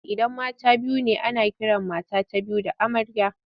Idan mata biyu ne ana kiran mata ta biyu da amarya.